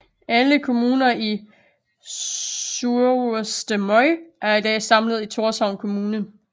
Alle kommuner i Suðurstreymoy er i dag samlet i Thorshavn Kommune